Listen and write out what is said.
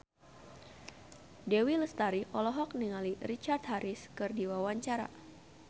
Dewi Lestari olohok ningali Richard Harris keur diwawancara